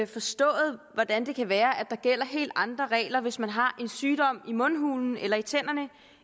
forstået hvordan det kan være at der gælder helt andre regler hvis man har en sygdom i mundhulen eller i tænderne